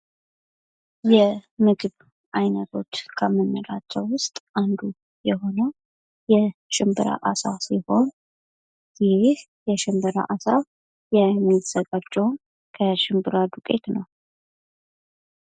የምግብ ዓይነቶች ከምንላቸው ውስጥ አንዱ የሆነው የሽንብራ አሳ ሲሆን ይህ የሽንብራ አሳ የሚዘጋጀውን ከሽምብራ ዱቄት ነው ።